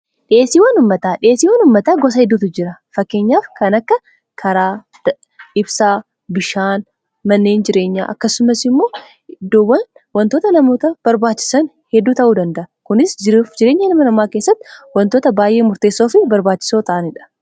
dhi'eesiiwan ummataa dhi'eesiiwwan ummataa gosa hedduutu jira fakkeenyaaf kan akka karaa ibsaa bishaan manneen jireenya akkasumas immoo iddowwan wantoota namoota barbaachisan hedduu ta'uu dandaa kunis jireenya hilma namaa keessatti wantoota baay'ee murteessoo fi barbaachisoo ta'aniidha